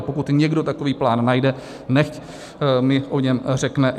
A pokud někdo takový plán najde, nechť mi o něm řekne.